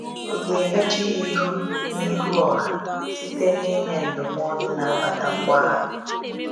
Ị ga emechi ya ihu n’ihu ọha site n’inye ndụmọdụ na-akpata mgbagha?